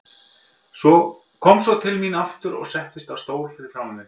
Kom svo til mín aftur og settist á stól fyrir framan mig.